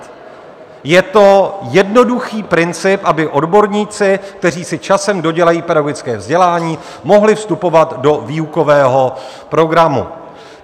Je to jednoduchý princip, aby odborníci, kteří si časem dodělají pedagogické vzdělání, mohli vstupovat do výukového programu.